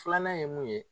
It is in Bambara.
Filanan ye mun ye